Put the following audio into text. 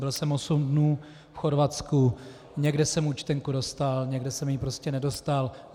Byl jsem osm dní v Chorvatsku, někde jsem účtenku dostal, někde jsem ji prostě nedostal.